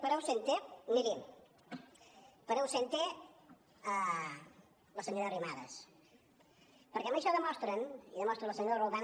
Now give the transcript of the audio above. per ausente mirin per ausente la senyora arrimadas perquè amb això demostren i demostra la senyora roldán